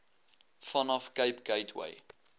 vanaf cape gateway